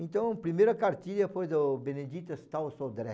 Então, a primeira cartilha foi do Benedito Stauro Sodré.